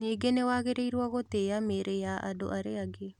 Ningĩ nĩ wagĩrĩirũo gũtĩa mĩĩrĩ ya andũ arĩa angĩ.